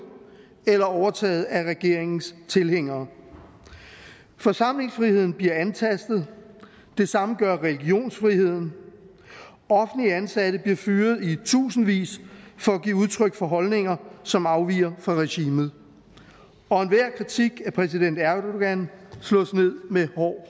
eller overtaget af regeringens tilhængere forsamlingsfriheden bliver antastet det samme gør religionsfriheden offentlige ansatte bliver fyret i tusindvis for at give udtryk for holdninger som afviger fra regimet og enhver kritik af præsident erdogans slås ned med hård